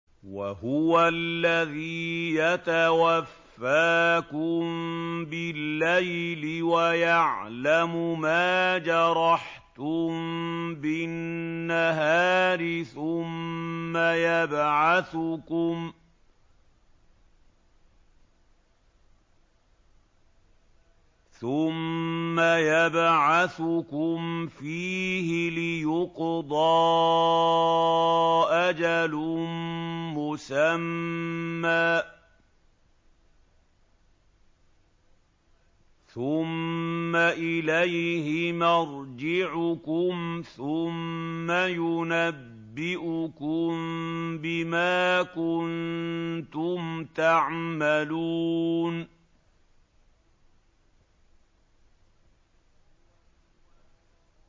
وَهُوَ الَّذِي يَتَوَفَّاكُم بِاللَّيْلِ وَيَعْلَمُ مَا جَرَحْتُم بِالنَّهَارِ ثُمَّ يَبْعَثُكُمْ فِيهِ لِيُقْضَىٰ أَجَلٌ مُّسَمًّى ۖ ثُمَّ إِلَيْهِ مَرْجِعُكُمْ ثُمَّ يُنَبِّئُكُم بِمَا كُنتُمْ تَعْمَلُونَ